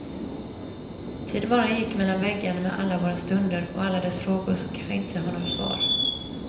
Tiden bara gick mellan väggarna med alla våra stunder och alla dessa frågor som kanske inte har några svar.